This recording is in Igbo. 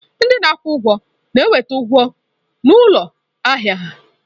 Ndị na-akwụ ụgwọ na-enweta ụgwọ n'ụlọ ahịa ahịa.